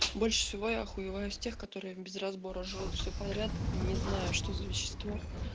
больше всего я охуеваю с тех которые без разбора жрут все подряд не знаю что за вещество